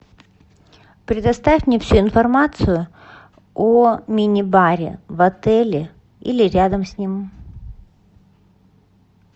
предоставь мне всю информацию о мини баре в отеле или рядом с ним